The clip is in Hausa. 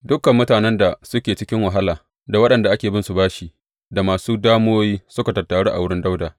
Dukan mutanen da suke cikin wahala, da waɗanda ake binsu bashi, da masu damuwoyi, suka tattaru a wurin Dawuda.